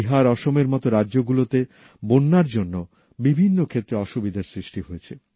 বিহার অসমের মত রাজ্য গুলোতে বন্যার জন্য বিভিন্ন ক্ষেত্রে অসুবিধার সৃষ্টি হয়েছে